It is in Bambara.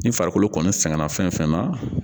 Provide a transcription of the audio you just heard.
Ni farikolo kɔni sɛgɛnna fɛn fɛn na